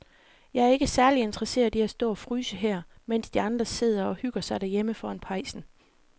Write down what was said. Jeg er ikke særlig interesseret i at stå og fryse her, mens de andre sidder og hygger sig derhjemme foran pejsen.